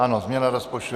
Ano, změna rozpočtu.